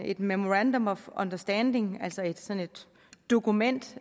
et memorandum of understanding altså sådan et dokument